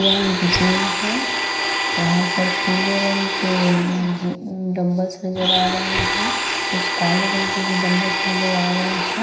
यह एक जिम है यहाँ पर पीले रंग के जी डम्बल नजर आ रहे हैं। कुछ काले रंग के भी डम्बल नजर आ रहे हैं।